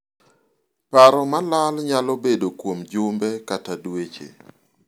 paro malal nyalo bedo kuom jumbe kata dweche